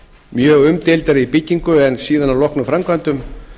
mjög umdeildar í byggingu en síðan að loknum framkvæmdum